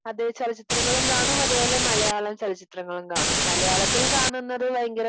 അതെ ചലച്ചിത്രങ്ങളും കാണും. അതുപോലെ മലയാള ചലച്ചിത്രങ്ങളും കാണും. മലയാളത്തിൽ കാണുന്നത് ഭയങ്കര